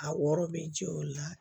A wɔɔrɔ bɛ jɔ o la